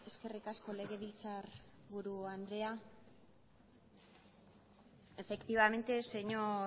eskerrik asko legebiltzarburu andrea efectivamente señor